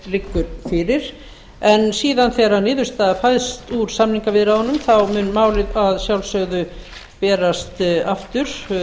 liggur fyrir en síðan þegar niðurstaða fæst úr samningaviðræðunum mun málið að sjálfsögðu berast aftur